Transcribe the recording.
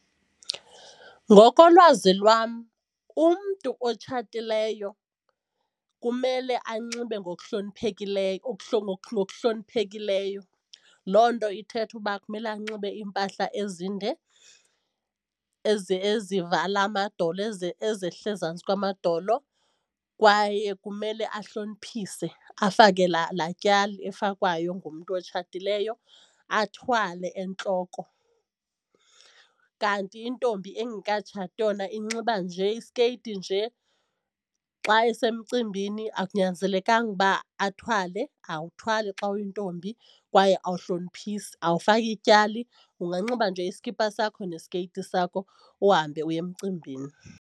Ngokolwazi lwam umntu otshatileyo kumele anxibe ngokuhloniphekileyo ngokuhloniphekileyo. Loo nto ithetha uba kumele anxibe iimpahla ezinde ezivala amadolo ezehla ezantsi kwamadolo kwaye kumele ahloniphise afake laa laa mali efakwayo ngumntu otshatileyo, athwale entloko. Kanti intombi engekatshati yona inxiba nje isikeyiti nje xa isemcimbini, akunyanzelekanga uba athwale, awuthwali xa uyintombi kwaye awuhloniphisi, awufaki ityali anganxiba nje iskipa sakho nesikeyiti sakho uhambe uye emcimbini.